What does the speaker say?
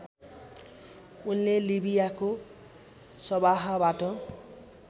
उनले लिबियाको सवाहबाट